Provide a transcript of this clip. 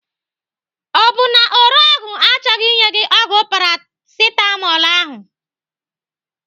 Ọ bụ na ore ọgwụ achọghị inye gị ọgwụ Paracetamol ahụ?